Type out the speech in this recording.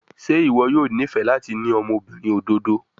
Ṣe iwọ yoo nifẹ lati ni ọmọbirin ododo?